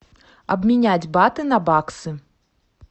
обменять баты на баксы